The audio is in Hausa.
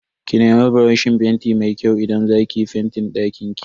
Ki nemi buroshin fenti mai kyau idan za ki yi fentin dakinki.